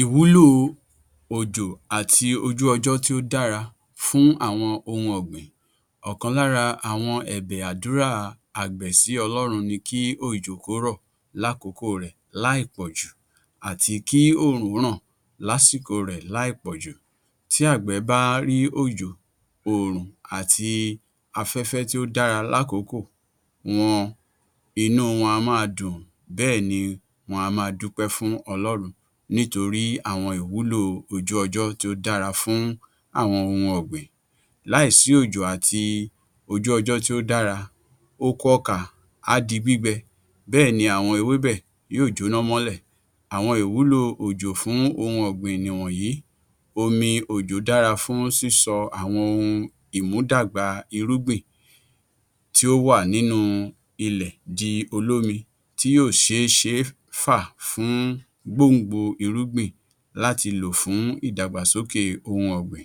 Ìwúlò òjò àti ojú ọjọ́ tí ó dára fún àwọn ohun ọ̀gbìn, ọ̀kan lára àwọn ẹ̀bẹ̀ àdúrà àgbẹ̀ sí Ọlọ́run ni kí òjò kó rọ̀ ní àkókò rẹ̀ láì pọ̀jù àti kí oòrùn ràn ní àsìkò rẹ̀ láì pọ̀jù tí ̀gbẹ̀ bá rí òjò, oòrùn àti afẹ́fẹ́ tí ó dára ní àkókò wọn, inú wọn á máa dùn bẹ́ẹ̀ni wọn á máa dúpẹ́ fún Ọlọ́run nítorí àwọn ìwúlò ojú ọjọ́ tí ó dára fún àwọn ohun ọ̀gbìn láì sí òjò àti ojú ọjọ́ tí ó dára, oko ọkà á di gbígbẹ, bẹ́ẹ̀ ni àwọn ewébẹ̀ yóò jóná mọ́lẹ̀. Àwọn ìwúlò òjò fún ohun ọ̀gbìn nìwọ̀nyí; omi òjò dára fún sísọ àwọn ohun ìmúdàgbà irúgbìn tí ó wà nínú ilẹ̀ di olómi tí yóò ṣeé fà fún gbòǹgbò irúgbìn láti lò fún ìdàgbàsókè ohun ọ̀gbìn;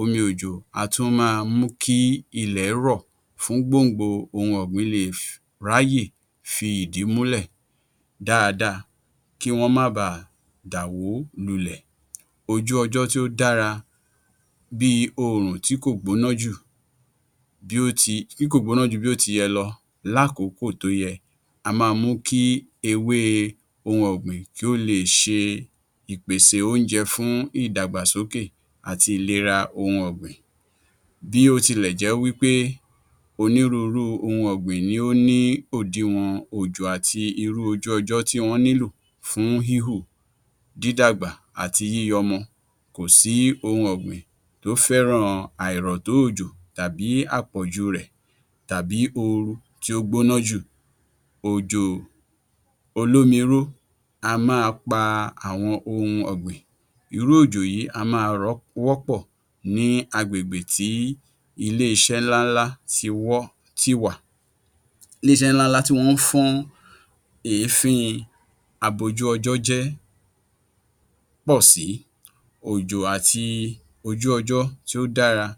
omi òjò a tún máa mú kí ilẹ̀ rọ̀ fún gbòǹgbò ohun ọ̀gbìn le è ráyè fi ìdí rẹ̀ múlẹ̀ dáadáa kí wọ́n bà á dàwó lulẹ̀. Ojú ọjọ́ tí ó dára bí i oòrùn tí kò gbóná jù bí ó ti yẹ lọ lákòókò tó yẹ, á máa ń mú kí ewé ohun ọ̀gbìn kí ó le è ṣe ìpèsè oúnjẹ fún ìdàgbàsókè àti ìlera ohun ọ̀gbìn, bí ó tilẹ jẹ́ wí pé onírúurú ohun ọ̀gbìn ni ó ní òdiwọ̀n ọjọ́ àti irú ojú ọjọ́ tí wọ́n nílò fú híhù, dídàgbà àti yíyọmọ, kò sí ohun ọ̀gbìn tí ó fẹ́ràn àìrọ̀-tó-òjò tàbí àpọ̀jùrẹ̀ tàbí ooru tí ó gbóná jù, òjò olómi rú á máa pa àwọn ohun ọ̀gbìn, irú òjò yìí á máa wọ́pọ̀ ní agbègbè tí iléeṣẹ́ ńlá ńlá tí wọ́n ti wà, tí wọ́n ń fọ́n èéfín abojú-ọjọ́-jẹ́pọ̀sí, òjò àti oju ọjọ́ tí o dára,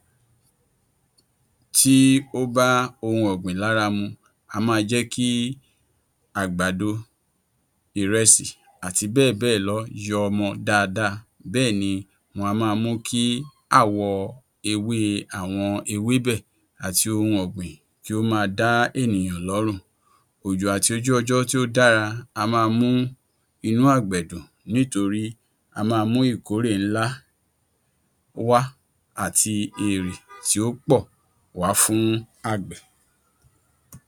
tí ó bá ohun ọ̀gbìn lára mu; á máa jẹ́ kí àgbàdo, ìrẹsì àti bẹ́ẹ̀ bẹ́ẹ̀ lọ yọ ọmọ dáadáa, bẹ́ẹ̀ni wọ́n á máa mú kí àwọ̀ ewé àwọn ewébẹ̀ àti ohun ọ̀gbìn kí ó máa dá ènìyàn lọ́rùn, òjò àti ojú ọjọ́ tí ó dára á máa mú inú àgbẹ̀ dùn nítorí á máa mú ikórè ńlá wá àti èrè tí ó pọ̀ wá fún àgbẹ̀.